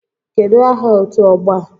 Kedụ aha otu ọgbọ a?